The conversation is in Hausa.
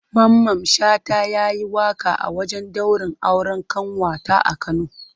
Mamman Shata ya yi waƙa a wajen daurin auren ƙanwata a Kano.